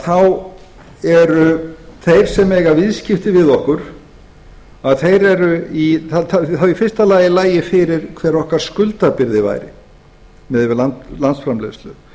þá eru þeir sem eiga viðskipti við okkur það í fyrsta lagi lagi fyrir hver okkar skuldabyrði væri miðað við landsframleiðslu